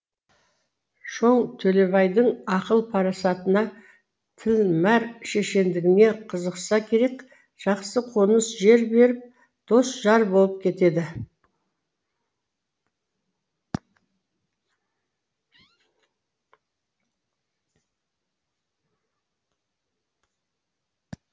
шоң төлебайдың ақыл парасатына тілмәр шешендігіне қызықса керек жақсы қоныс жер беріп дос жар болып кетеді